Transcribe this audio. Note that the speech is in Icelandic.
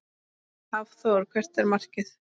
Hafþór: Hvert er markið?